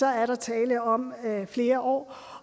er tale om flere år